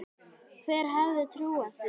Hver hefði trúað því??